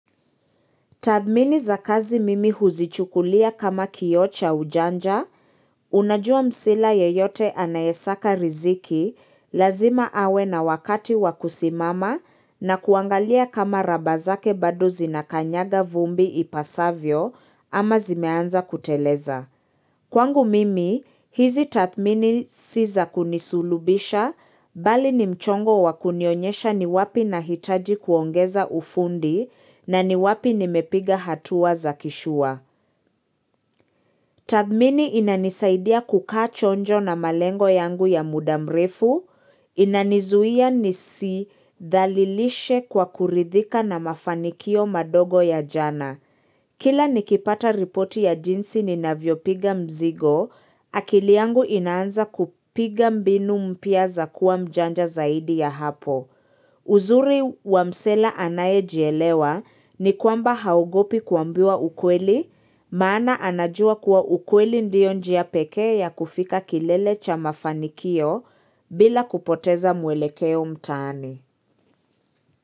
Tathmini za kazi mimi huzichukulia kama kioo cha ujanja, unajua msela yeyote anayesaka riziki, lazima awe na wakati wakusimama na kuangalia kama raba zake bado zinakanyaga vumbi ipasavyo ama zimeanza kuteleza. Kwangu mimi, hizi tathmini si za kunisulubisha, bali ni mchongo wa kunionyesha ni wapi nahitaji kuongeza ufundi na ni wapi nimepiga hatua za kishua. Tathmini inanisaidia kukaa chonjo na malengo yangu ya muda mrefu, inanizuia ni si dhalilishe kwa kuridhika na mafanikio madogo ya jana. Kila nikipata ripoti ya jinsi ninavyopiga mzigo, akili yangu inaanza kupiga mbinu mpya za kuwa mjanja zaidi ya hapo. Uzuri wamsela anayejielewa ni kwamba haogopi kuambiwa ukweli, maana anajua kuwa ukweli ndiyo njia pekee ya kufika kilele cha mafanikio bila kupoteza mwelekeo mtaani.